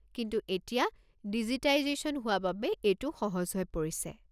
কিন্তু এতিয়া ডিজিটাইজেশ্যন হোৱা বাবে এইটো সহজ হৈ পৰিছে।